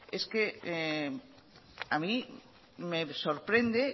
es que a mí me sorprende